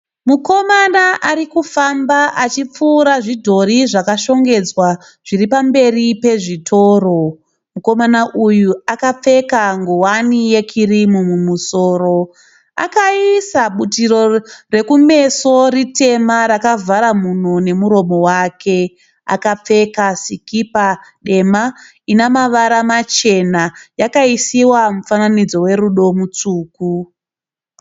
Mukomana arikufamba achipfuura zvidhori zvakashongedzwa zviri pamberi pezvitoro. Mukomana uyu akapfeka nguwani yekirimu mumusoro. Akaisa butiro rekumeso ritema rakavhara mhuno nemuromo wake. Akapfeka sikipa dema ine mavara machena yakaisiwa mufananidzo werudo mutsvuku.